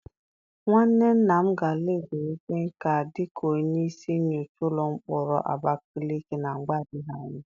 Nwanne nna m ga-ala ezumike nká dịka onye isi nyocha ụlọ mkpọrọ Abakaleke na mgbe adịghị anya.